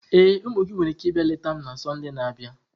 Ee, ụmụ gị nwere ike ịbịa leta m na Sọnde na-abịa.